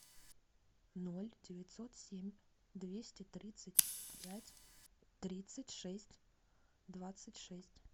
ноль девятьсот семь двести тридцать пять тридцать шесть двадцать шесть